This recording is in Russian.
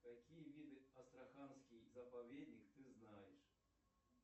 какие виды астраханский заповедник ты знаешь